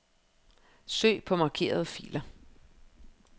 Søg på markerede filer.